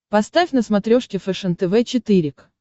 поставь на смотрешке фэшен тв четыре к